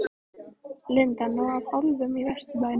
Linda: Nóg af álfum í Vesturbænum?